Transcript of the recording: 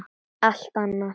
Allt annað!